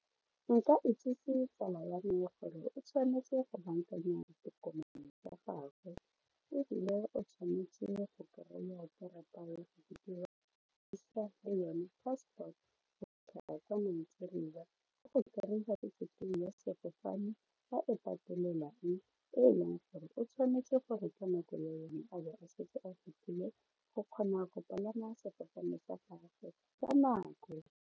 Nka itsise tsala ya me gore o tshwanetse go bankanya ditokomane tsa gagwe ebile o tshwanetse go kry-a karata le yone passport go fitlha kwa Nigeria sefofane a e patelelang e e leng gore o tshwanetse gore ka nako ya yone a bo a setse a fetlhile go kgona gore palama sefofane sa gagwe ka nako.